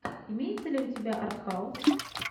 имеется ли у тебя артхаус